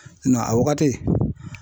Nga a wagati